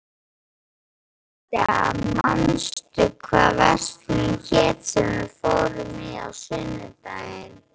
Amadea, manstu hvað verslunin hét sem við fórum í á sunnudaginn?